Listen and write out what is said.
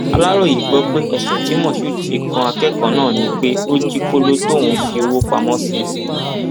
aláròye gbọ pé ẹsùn tí moshood fi kan akẹkọọ náà ni pé ó jí kóló tóun fi owó pamọ sí